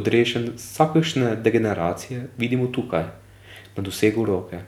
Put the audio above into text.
odrešen vsakršne degeneracije, vidimo tukaj, na dosegu roke.